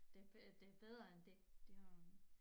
Det øh det bedre end det. Det jo